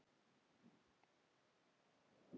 Við hlæjum.